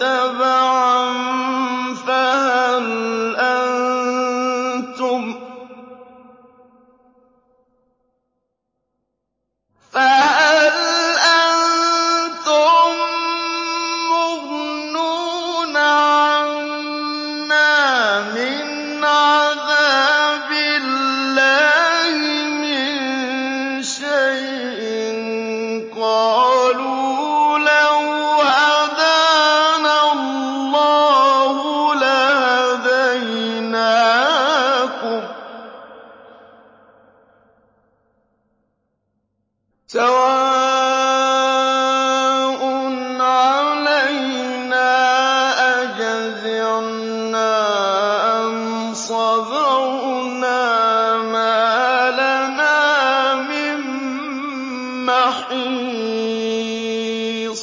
تَبَعًا فَهَلْ أَنتُم مُّغْنُونَ عَنَّا مِنْ عَذَابِ اللَّهِ مِن شَيْءٍ ۚ قَالُوا لَوْ هَدَانَا اللَّهُ لَهَدَيْنَاكُمْ ۖ سَوَاءٌ عَلَيْنَا أَجَزِعْنَا أَمْ صَبَرْنَا مَا لَنَا مِن مَّحِيصٍ